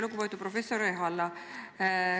Lugupeetud professor Ehala!